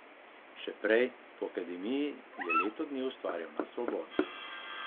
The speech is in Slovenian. Še prej, po akademiji, je leto dni ustvarjal na svobodi.